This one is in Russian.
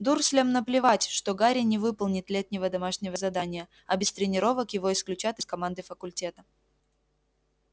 дурслям наплевать что гарри не выполнит летнего домашнего задания а без тренировок его исключат из команды факультета